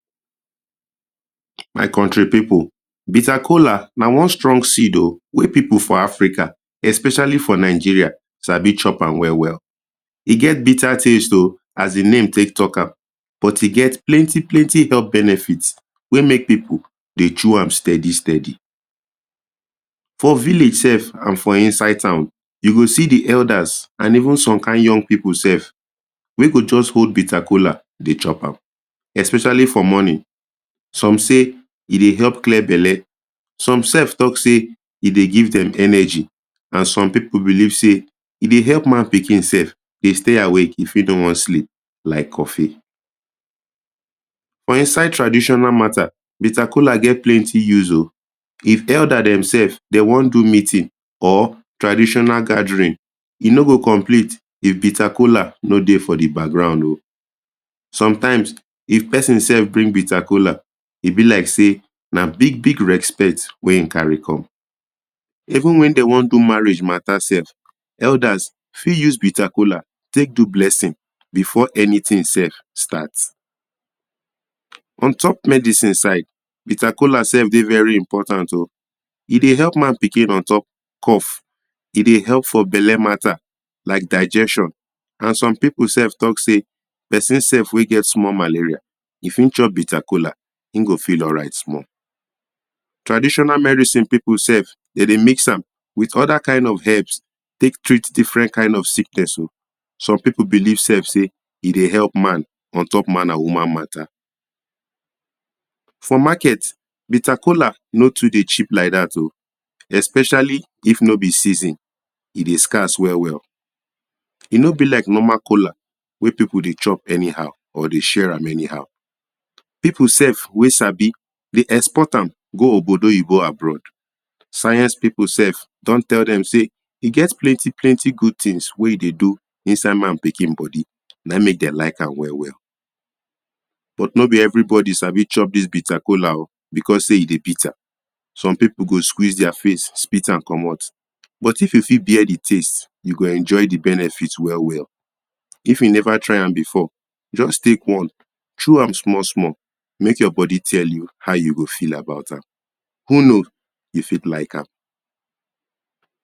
My country pipo, bitter kola na one strong seed.o wey pipo for Africa especially for Nigeria sabi chop am well, well! E get bitter taste.o as de name take talk am but e fit plenty, plenty health benefits wey make pipo dey chew am steady, steady! For village sef and for inside town, you go de elders and even some kind young pipo sef, wey go just hold bitter kola dey chop am. Especially for morning, some say e dey help clear belle. Some sef talk sey e dey give dem energy and some pipo believe sey e dey help man pikin sef de stay awake if e no wan sleep like coffee. For inside traditional mata, bitter kola get plenty use.o. If elder demsefs dem wan do meeting or traditional gathering, e no go complete if bitter kola no dey for de background.o Sometimes, if pesin sef bring bitter kola, e be like sey na big big respect wey e kari come. Even when dey wan do marriage mata sef, elders fit use bitter kola take do blessings before anytin sef start. On top medicine side, bitter kola sef dey very important.o E dey help man pikin on top cough. E dey help for belle mata like digestion and some pipo sef talk sey pesin sef wey get small malaria, if e chop bitter kola, e go feel all right small. Traditional medicine pipo sef dem dey mix am with oda kind of herbs take treat different kind of sickness.o Some pipo believe sef sey e dey help man, on top man and woman mata. For market, bitter kola no too dey cheap like dat.o especially if no be season, e dey scarce well, well! E no be like normal kola wey pipo dey chop any how or dey share am any how. Pipo sef wey sabi dey export am go obodo oyibo abroad. Science pipo sef, don tell dem sey, e get plent, plenty good tins wey e dey do inside man pikin body, na e make dem like am well well. But no be everybody sabi chop dis bitter kola.o becos sey e dey bitter. Some pipo go squeeze dia face, spit am comot. But if you fit bear de taste, you go enjoy de benefit well, well! If you never try am before, just take one, chew am small small, make your body tell you how you go feel about am. Who know? You fit like am.